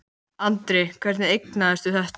Andri: Hvernig eignaðistu þetta?